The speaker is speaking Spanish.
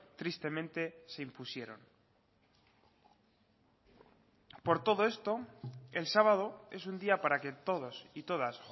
tristemente se impusieron por todo esto el sábado es un día para que todos y todas